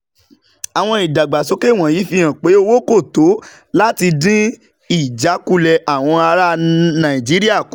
Àwọn ìdàgbàsókè wọ̀nyí fi hàn pé owó kò tó láti dín ìjákulẹ̀ àwọn ará Nàìjíríà kù